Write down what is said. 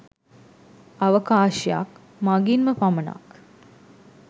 අවකාශයක් මගින්ම පමණක්